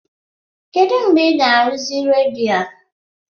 Kedụ mgbe ị ga-arụzi redio a?